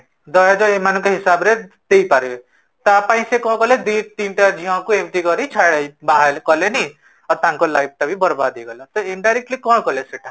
ଦହେଜ ଏମାନଙ୍କ ହିସାବ ରେ ଦେଇ ପାରିବେ ତାପାଇଁ ସେ କଣ କଲେ ଦିତିନିଟା ଝିଅଙ୍କୁ ଏମିତି କରି ବାହା କଲେନି ଆଉ ତାଙ୍କ life ଟାବି ବର୍ବାଦ ହେଇଗଲା, ତ indirectly କଣ କଲେ ସେଇଟା?